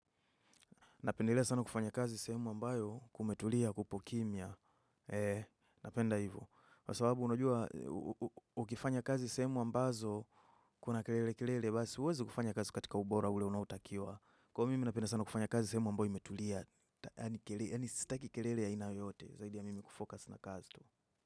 Napendelea sana kufanya kazi sehemu ambayo kumetulia kupo kimya. Napenda hivo. Kwa sawabu unajua ukifanya kazi sehemu ambazo kuna kelele kelele. Basi huwezi kufanya kazi katika ubora ule unaotakiwa. Kwa hivo mimi napenda sana kufanya kazi sehemu ambayo imetulia. Ysani sitaki kelele ya aina yoyote. Zaidi ya mimi kufocus na kazi tu.